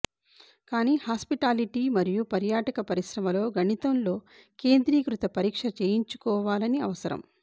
కానీ హాస్పిటాలిటి మరియు పర్యాటక పరిశ్రమ లో గణితంలో కేంద్రీకృత పరీక్ష చేయించుకోవాలని అవసరం